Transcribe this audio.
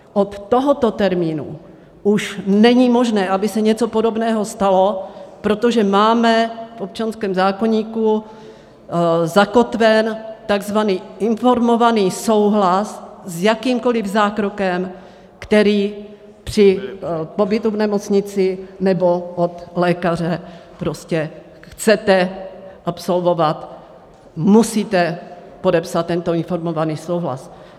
Od tohoto termínu už není možné, aby se něco podobného stalo, protože máme v občanském zákoníku zakotven takzvaný informovaný souhlas s jakýmkoliv zákrokem, který při pobytu v nemocnici nebo od lékaře prostě chcete absolvovat, musíte podepsat tento informovaný souhlas.